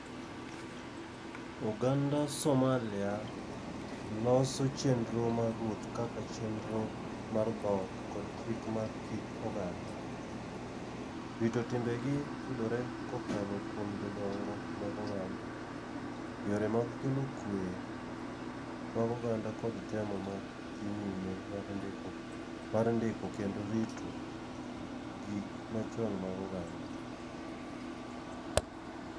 Oganda Somalia loso chendro mar ruoth kaka chendro mar dhot kod chik mar kit oganda. Rito timbe gi yudore kokalo kuom jodongo mag oganda. Yore mag kelo kwe mag oganda kod temo ma dhi nyime mar ndiko mar ndiko kendo rito gik machon mag oganda.